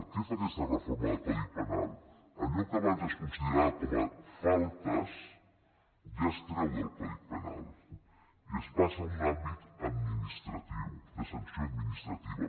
què fa aquesta reforma del codi penal allò que abans es considerava com a faltes ja es treu del codi penal i es passa a un àmbit administratiu de sanció administrativa